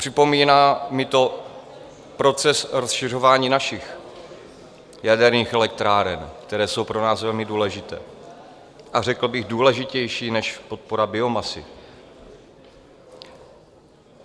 Připomíná mi to proces rozšiřování našich jaderných elektráren, které jsou pro nás velmi důležité, a řekl bych důležitější než podpora biomasy.